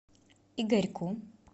игорьку